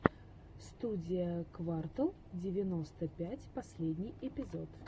студия квартал девяносто пять последний эпизод